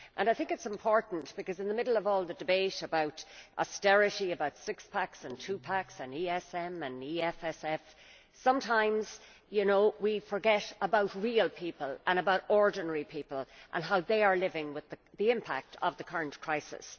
I think it is important because, in the middle of all the debate about austerity, about six packs and two packs, ESM and EFSF, sometimes we forget about real people, about ordinary people and how they are living with the impact of the current crisis.